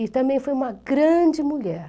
E também foi uma grande mulher.